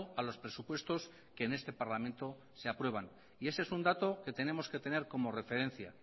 a los presupuestos que en este parlamento se aprueban y ese es un dato que tenemos que tener como referencia